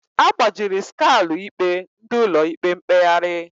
Agbajiri Skalu ikpe ndị Ụlọ ikpe mkpegharị